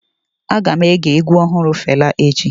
Aga m ege egwu ọhụrụ Fela echi.